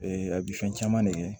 a bi fɛn caman de kɛ